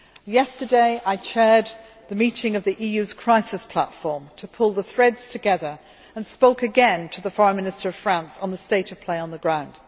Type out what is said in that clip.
Yesterday I chaired the meeting of the EU's Crisis Platform to pull the threads together, and I spoke again to the Foreign Minister of France on the state on the state of play on the ground.